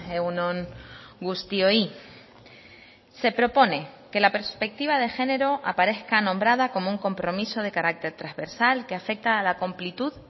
egun on guztioi se propone que la perspectiva de género aparezca nombrada como un compromiso de carácter transversal que afecta a la complitud